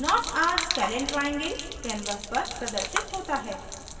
not a scalene triangle canvas पर प्रदर्शित होता है